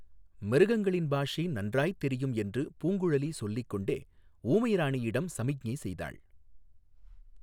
மிருகங்களின் பாஷை நன்றாய்த் தெரியும் என்று பூங்குழலி சொல்லிக் கொண்டே ஊமை ராணியிடம் சமிக்ஞை செய்தாள்.